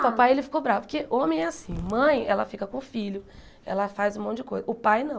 O papai, ele ficou bravo, porque homem é assim, mãe, ela fica com o filho, ela faz um monte de coisa, o pai não.